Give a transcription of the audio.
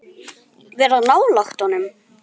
spurði Stella.